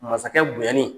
Masakɛ bonyali